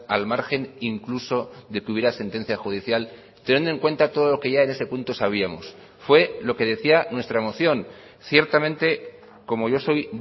al margen incluso de que hubiera sentencia judicial teniendo en cuenta todo lo que ya en ese punto sabíamos fue lo que decía nuestra moción ciertamente como yo soy